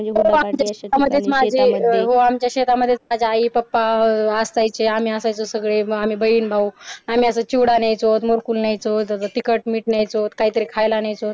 हो आमच्या शेतामध्ये आम्ही आई पप्पा असतो इथे आम्ही असायचो सगळे आम्ही बहीण भाऊ आम्ही असे चिवडा न्यायचो मुरकू न्यायचो तिखट मीठ न्यायचो काहीतरी खायला न्यायचो